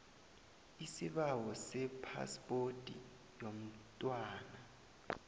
isibawo sephaspoti yomntwana